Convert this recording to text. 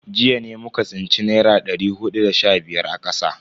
Jiya ne muka tsinci dari naira hudu da sha biyar a kasa.